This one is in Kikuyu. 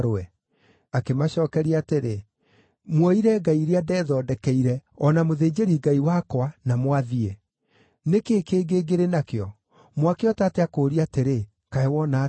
Akĩmacookeria atĩrĩ, “Muoire ngai iria ndethondekeire, o na mũthĩnjĩri-ngai wakwa, na mwathiĩ. Nĩ kĩĩ kĩngĩ ngĩrĩ nakĩo? Mwakĩhota atĩa kũũria atĩrĩ, ‘Kaĩ wona atĩa?’ ”